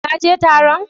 Ka je Taron?